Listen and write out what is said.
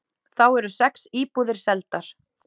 Þá eru sex íbúðir seldar.